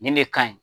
Nin de ka ɲi